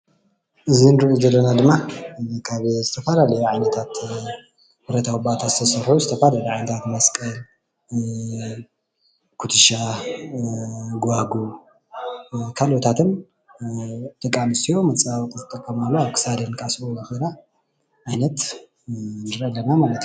እዚ እንሪኦ ዘለና ድማ ካብ ዝተፈላለዩ ዓይነታትብረታዊ ባእታ ዝተሰርሑ ዝተፈላለዩ ዓይናታት መስቀል፣ ኩቱሻ፣ ጉባጉብ ካልኦታትን ደቂ ኣነስትዮ መፀባበቂታትን ዝጥቀማሉኣ ደቂ ኣነስትዮ ኣብ ክሳደን ክኣስረኦ ዝክእላ ዓይነት ንርኢ ኣለና ማለት እዩ፡፡